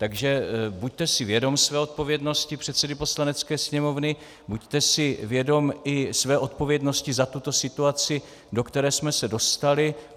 Takže buďte si vědom své odpovědnosti předsedy Poslanecké sněmovny, buďte si vědom i své odpovědnosti za tuto situaci, do které jsme se dostali.